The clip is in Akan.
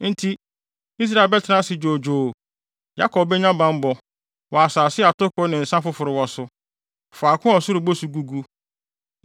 Enti, Israel bɛtena ase dwoodwoo; Yakob benya bammɔ wɔ asase a atoko ne nsa foforo wɔ so, faako a ɔsoro bosu gugu.